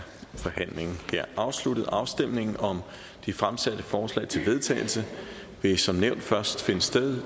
forhandlingen afsluttet afstemningen om de fremsatte forslag til vedtagelse vil som nævnt først finde sted